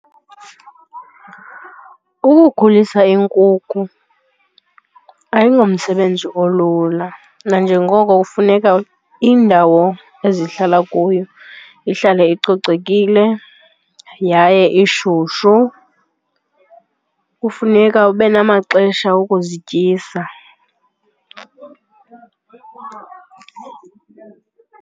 Ukukhulisa iinkukhu ayingomsebenzi olula nanjengoko kufuneka indawo ezihlala kuyo ihlale icocekile yaye ishushu, kufuneka ube namaxesha okuzityisa.